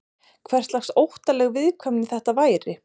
Hverslags óttaleg viðkvæmni þetta væri?